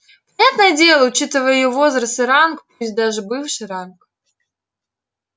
понятное дело учитывая её возраст и ранг пусть даже бывший ранг